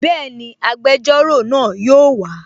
Bẹ́ẹ̀ni, agbẹjọ́rò náà yóò wa